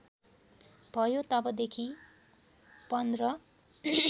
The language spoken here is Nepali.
भयो तबदेखि १५